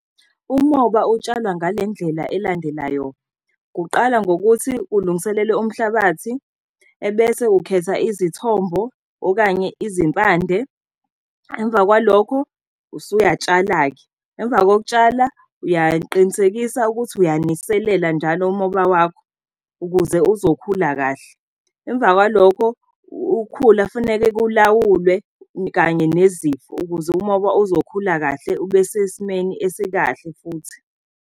Umoba utshalwa ngale ndlela elandelayo, kuqala ngokuthi ulungiselele umhlabathi, ebese ukhetha izithombo okanye izimpande. Emva kwalokhu usuyatshala-ke. Emva kokutshala uyaqinisekisa ukuthi uyaniselela njalo umoba wakho, ukuze uzokhula kahle. Emva kwalokho ukhula kufanele kulawulwe kanye nezifo ukuze umoba uzokhula kahle, ube sesimeni esikahle futhi.